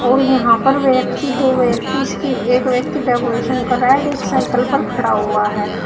और यहां पर व्यक्ति दो व्यक्ति इसके एक व्यक्ति डेकोरेशन कर रहा है और एक साइकल पर खड़ा हुआ है।